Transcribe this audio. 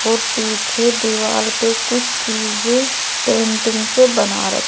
और पीछे दीवार पे कुछ चीजें पेंटिंग से बना--